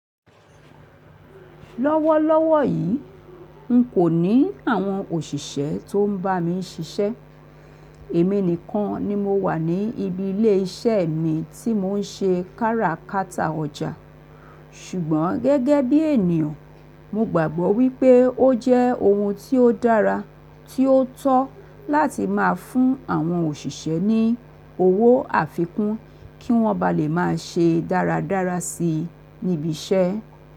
Lọ́wọ́lọ́wọ́ yi, n kò ní àwọn òṣìṣẹ́ tó n bá mi ṣiṣẹ́, èmi nìkan ni mo wà ní ibi ilé iṣẹ́ mi tí mò n ṣe kára kátà ọjà. Sùgbọ́n gẹ́gẹ́ bí ènìyàn, mo gbàgbọ́ wípé ó jẹ́ ohun tí ó dára tí ó tọ́ láti máa fún àwọn òṣìṣẹ́ ní owó àfikún kí wọ́n bá le máa ṣe dáradára si níbi iṣẹ́.